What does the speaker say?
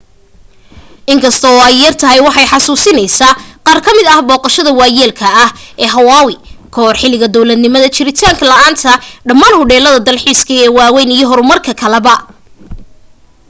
in kasta oo ay yartahay waxay xasuusineysaa qaar ka mid ah booqdayaasha waayeelka ah ee hawaii kahor xiligii dowladnimada jiritaan la'aanta ldhammaan hudheellada dalxiiskaa ee waaweyn iyo horumarka kaleba